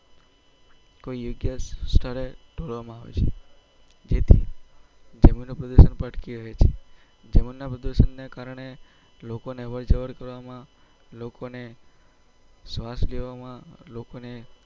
કોઈ યોગ્ય સ્થળે ઢોળવામાં માં આવે છે જેથી જમીન પ્રદુસન પણ અટકી રહ્યું છે જમ્મીન ના પ્રદુસન ના કરને લોકો ને અવાર જવર કરવામાં લોકો ને સ્વાસ લેવામાં લોકોને